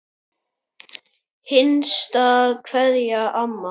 HINSTA KVEÐJA Amma.